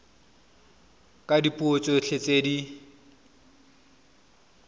ka dipuo tsotlhe tse di